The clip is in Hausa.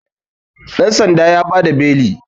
dansan ya ba da beli